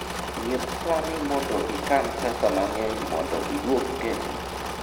nyiep sani mondo ikan pesa mang'eny mondo iduog kendo